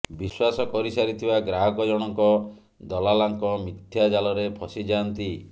ବିଶ୍ୱାସ କରିସାରିଥିବା ଗ୍ରାହକ ଜଣଙ୍କ ଦଲାଲାଙ୍କ ମିଥ୍ୟା ଜାଲରେ ଫସି ଯାଆନ୍ତି